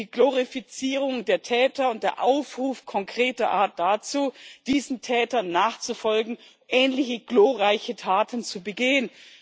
Die Glorifizierung der Täter und der Aufruf konkreter Art dazu, diesen Tätern nachzufolgen, ähnliche glorreiche Taten zu begehen.